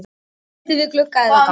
Sæti við glugga eða gang?